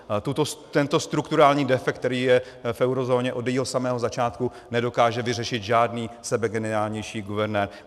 Tento strukturální defekt, který je v eurozóně od jejího samého začátku, nedokáže vyřešit žádný sebegeniálnější guvernér.